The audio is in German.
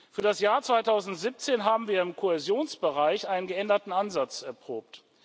Für das Jahr 2017 haben wir im Kohäsionsbereich einen geänderten Ansatz erprobt.